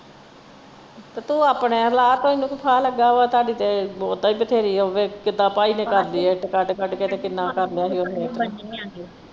ਤੇ ਤੂੰ ਆਪਣੇ ਲਾ ਤੈਨੂੰ ਕੀ ਫਾਹਾ ਲੱਗਾ ਵਾ ਤੁਹਾਡੀ ਤੇ ਬਹੁਤਾ ਏ ਬਥੇਰੀ ਆ ਕਿੱਦਾਂ ਭਾਈ ਨੇ ਕਰਲੀ ਇੱਟ ਕੱਢ ਕੱਢ ਕੇ ਤੇ ਕਿੰਨਾ ਕਰਲਿਆ ਹੀ ਓਹਨੇ।